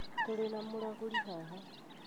Tũrĩ na mũragũri haha